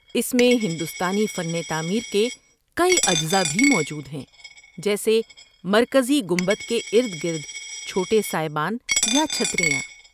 اس میں ہندوستانی فن تعمیر کے کئی اجزاء بھی موجود ہیں، جیسے مرکزی گنبد کے ارد گرد چھوٹے سائبان یا چھتریاں۔